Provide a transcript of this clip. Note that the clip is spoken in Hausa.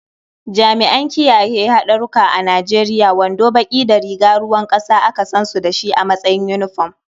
Jami'an kiyaye haɗura a Nijeriya wando baƙi da riga ruwan ƙasa aka san su da shi a matsayin yunifom.